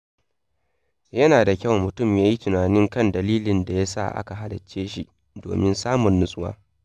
Yana da kyau mutum ya yi tunani kan dalilin da ya sa aka halicce shi domin samun natsuwa.